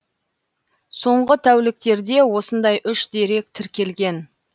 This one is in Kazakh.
соңғы тәуліктерде осындай үш дерек тіркелген